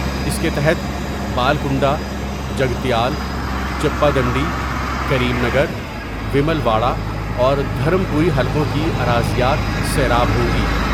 اس کے تحت Balkonda Jagtial Choppadandi, Karimnagar Vemulawada اور دھرم پوری حلقوں کی اراضیات سیراب ہوں گی ۔